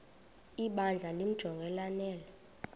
ibandla limjonge lanele